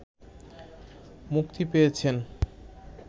মুক্তি পেয়েছেন